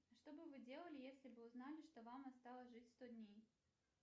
что бы вы делали если бы узнали что вам осталось жить сто дней